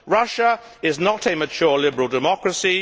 Russia is not a mature liberal democracy.